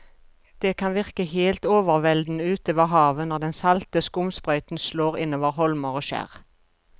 Det kan virke helt overveldende ute ved havet når den salte skumsprøyten slår innover holmer og skjær.